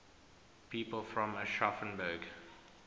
people from aschaffenburg